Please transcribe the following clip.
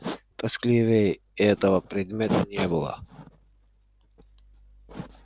тоскливее этого предмета не было